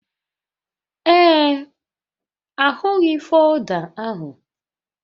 Ee, ahụghị folda ahụ